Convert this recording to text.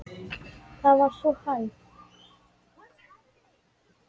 Það var sú hæð.